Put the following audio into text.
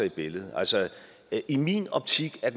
i billedet altså i min optik er